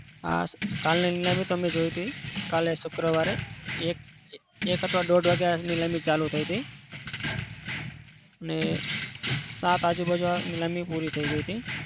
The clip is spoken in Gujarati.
હા કાલની નીલામી તો મેં જોઈ હતી. કાલે શુક્રવારે એક એક કાતો દોઢ વાગે નીલામી ચાલુ થઇ હતી. ને સાત આજુબાજુમાં નીલામી પૂરી થઇ ગઈ હતી.